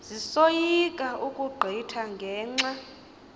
zisoyika ukugqitha ngenxa